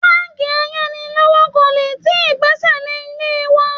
Báńkì ayánilówókọ́lé tí gbẹ́sẹ̀ lé ilé wa